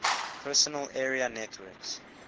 personal area networks